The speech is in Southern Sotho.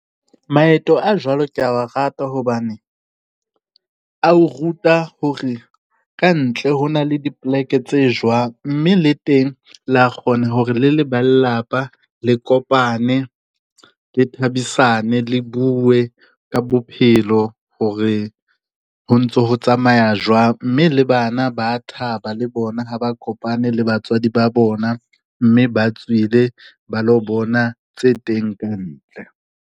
Maeto a jwalo ke ya wa rata hobane, a o ruta hore ka ntle ho na le dipleke tse jwang, mme le teng la kgona hore le le ba lelapa le kopane, le thabisane, le bue ka bophelo hore ho ntso ho tsamaya jwang. Mme le bana ba a thaba le bona ha ba kopane le batswadi ba bona mme ba tswile ba lo bona tse teng ka ntle.